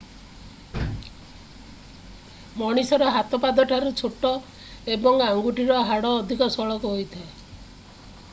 ମଣିଷର ହାତ ପାଦଠାରୁ ଛୋଟ ଏବଂ ଆଙ୍ଗୁଠିର ହାଡ଼ ଅଧିକ ସଳଖ ହୋଇଥାଏ